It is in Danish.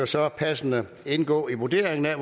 så passende indgå i vurderingen af